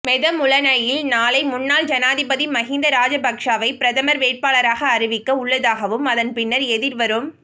மெதமுலனையில் நாளை முன்னாள் ஜனாதிபதி மகிந்த ராஜபக்சவை பிரதமர் வேட்பாளராக அறிவிக்க உள்ளதாகவும் அதன் பின்னர் எதிர்வரும்